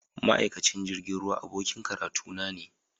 Ma’aikacin jirgin ruwa abokin karatuna ne.